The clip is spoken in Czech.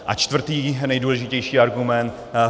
A čtvrtý nejdůležitější argument.